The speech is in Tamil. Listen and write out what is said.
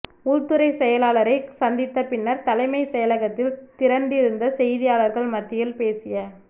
உள்துறை செயலாளரை சந்தித்த பின்னர் தலைமை செயலகத்தில் திரண்டிருந்த செய்தியாளர்கள் மத்தியில் பேசிய